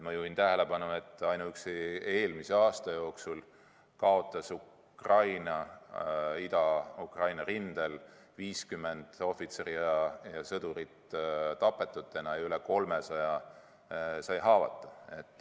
Ma juhin tähelepanu tõsiasjale, et ainuüksi eelmisel aastal kaotas Ida-Ukraina rindel elu 50 Ukraina ohvitseri ja sõdurit ning üle 300 sai haavata.